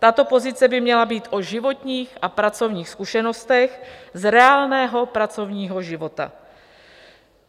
Tato pozice by měla být o životních a pracovních zkušenostech z reálného pracovního života.